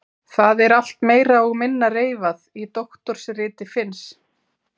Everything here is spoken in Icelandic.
Það er allt meira og minna reifað í doktorsriti Finns.